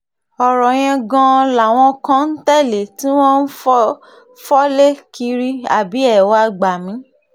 ọ̀rọ̀ yẹn gan-an làwọn kan ń tẹ̀lé tí wọ́n ń fọ́lé kiri àbí ẹ wàá gbà mí